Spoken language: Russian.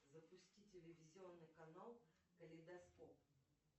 запусти телевизионный канал калейдоскоп